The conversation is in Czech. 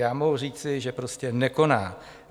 Já mohu říci, že prostě nekoná.